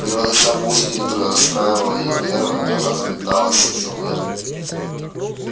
не вынося музыки которая расстраивала ей нервы она заметалась и завыла